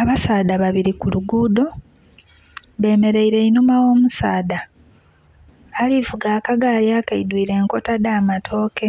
Abasaadha babili ku luguudo, bemeleire enhuma gh'omusaadha ali vuga akagaali akaidwire enkota dh'amatooke.